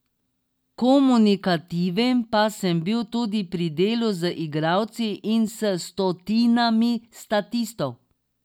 Komunikativen pa sem tudi pri delu z igralci in s stotinami statistov.